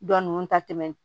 Dɔ nunnu ta tɛ tɛmɛ